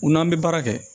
U n'an bɛ baara kɛ